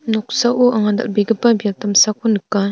noksao anga dal·begipa biap damsako nika.